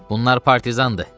Bunlar partizandır.